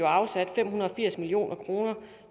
afsat fem hundrede og firs million kroner